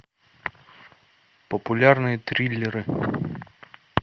популярные триллеры